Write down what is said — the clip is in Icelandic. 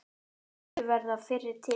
Vildu verða fyrri til.